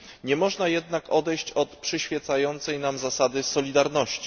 Nie można jednak odejść od przyświecającej nam zasady solidarności.